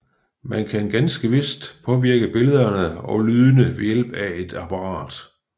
Man kan ganske vist påvirke billederne og lydene ved hjælp af apparatet